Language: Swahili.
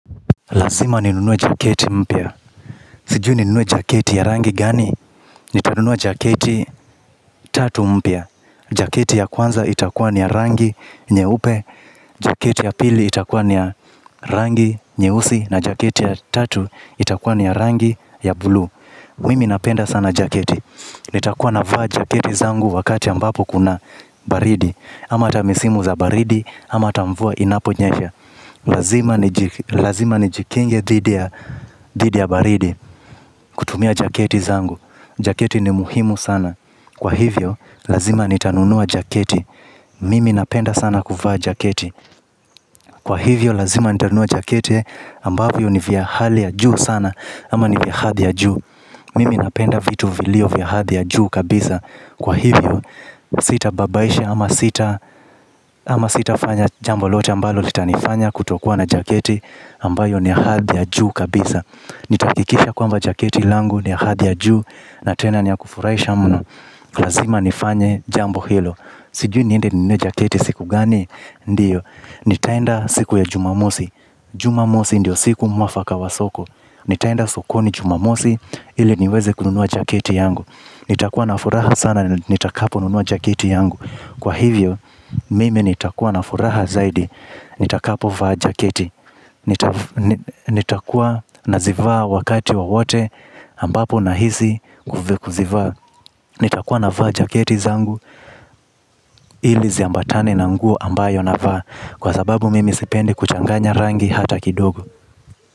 Lazima ninunue jaketi mpya. Sijui ninunue jaketi ya rangi gani? Nitanunua jaketi tatu mpya. Jaketi ya kwanza itakuwa ni ya rangi nyeupe. Jaketi ya pili itakuwa ni ya rangi nyeusi na jaketi ya tatu itakuwa ni ya rangi ya buluu. Mimi napenda sana jaketi. Nitakuwa navaa jaketi zangu wakati ambapo kuna baridi ama hata misimu za baridi ama hata mvua inaponyesha. Lazima nijikinge dhidi ya baridi. Kutumia jaketi zangu. Jaketi ni muhimu sana kwa hivyo, lazima nitanunua jaketi. Mimi napenda sana kuvaa jaketi. Kwa hivyo, lazima nitanunua jaketi ambavyo ni vya hali ya juu sana ama ni vya hadhi ya juu. Mimi napenda vitu vilio vya hadhi ya juu kabisa. Kwa hivyo, sitababaisha ama sita ama sitafanya jambo lote ambalo litanifanya kutokuwa na jaketi ambayo ni ya hadhi ya juu kabisa. Nitahakikisha kwamba jaketi langu ni ya hadhi ya juu na tena ni ya kufurahisha mno. Lazima nifanye jambo hilo. Sijui niende ninunue jaketi siku gani? Ndiyo, nitaenda siku ya jumamosi. Jumamosi ndio siku mwafaka wa soko. Nitaenda sokoni jumamosi ili niweze kununua jaketi yangu. Nitakuwa na furaha sana nitakaponunua jaketi yangu. Kwa hivyo mimi nitakuwa na furaha zaidi. Nitakapovaa jaketi. Nitakuwa nazivaa wakati wowote ambapo nahisi kuzivaa. Nitakuwa navaa jaketi zangu ili ziambatane na nguo ambayo navaa kwa sababu mimi sipendi kuchanganya rangi hata kidogo.